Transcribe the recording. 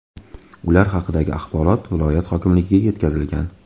Ular haqidagi axborot viloyat hokimligiga yetkazilgan .